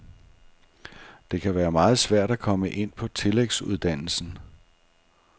Det kan være meget svært at komme ind på tillægsuddannelsen.